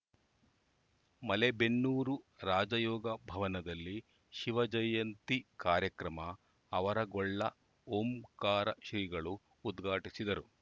ಮಲೇಬೆನ್ನೂರು ರಾಜಯೋಗ ಭವನದಲ್ಲಿ ಶಿವಜಯಂತಿ ಕಾರ್ಯಕ್ರಮ ಆವರಗೊಳ್ಳ ಓಂಕಾರ ಶ್ರೀಗಳು ಉದ್ಘಾಟಿಸಿದರು